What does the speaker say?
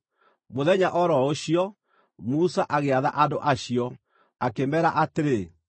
Mũthenya o ro ũcio, Musa agĩatha andũ acio, akĩmeera atĩrĩ: